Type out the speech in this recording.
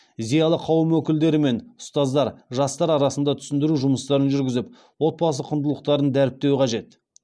зиялы қауым өкілдері мен ұстаздар жастар арасында түсіндіру жұмыстарын жүргізіп отбасы құндылықтарын дәріптеуі қажет